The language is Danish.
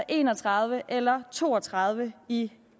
en og tredive eller to og tredive i